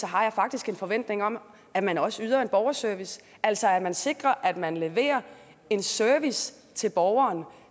har jeg faktisk en forventning om at man også yder en borgerservice altså at man sikrer at man samtidig leverer en service til borgeren